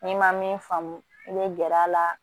N'i ma min faamu i bɛ gɛr'a la